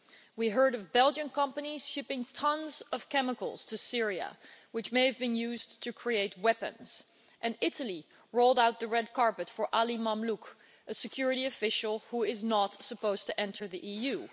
We heard of Belgian companies shipping tonnes of chemicals to Syria which may have been used to create weapons, and Italy rolled out the red carpet for Ali Mamlouk, a security official who is not supposed to enter the EU.